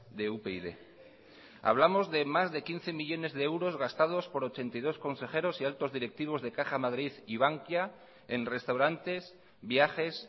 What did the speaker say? de upyd hablamos de más de quince millónes de euros gastados por ochenta y dos consejeros y altos directivos de caja madrid y bankia en restaurantes viajes